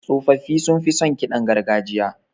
Tsofaffi sunfi son ƙidan gargajiya.